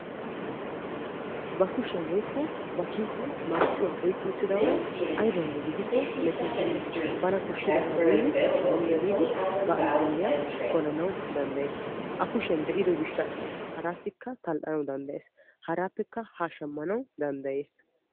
Ba kushiyaan woykko ba kiisiyaan marccuwaa oyqqi uttida uri aybawunne mettootenna. bana koshshidabaa biidi shammi ehiidi ba allaalliyaa polanawu danddayees. a kushiyaan de'ido gishshaasa harassikka tal"anawu danddayees. haraappekka ha shammanawu danddayees.